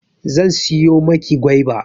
Zan siyo maki goiba